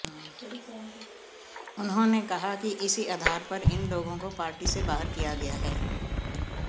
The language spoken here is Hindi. उन्होंने कहा कि इसी आधार पर इन लोगों को पार्टी से बाहर किया गया है